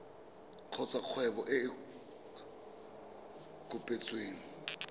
kgotsa kgwebo e e kopetsweng